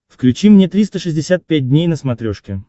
включи мне триста шестьдесят пять дней на смотрешке